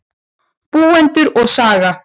Búendur og saga.